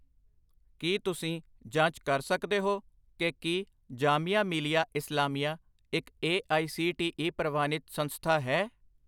ਕੀ ਤੁਸੀਂ ਜਾਂਚ ਕਰ ਸਕਦੇ ਹੋ ਕਿ ਕੀ ਜਾਮੀਆ ਮਿਲੀਆ ਇਸਲਾਮੀਆ ਇੱਕ A I C T E ਪ੍ਰਵਾਨਿਤ ਸੰਸਥਾ ਹੈ?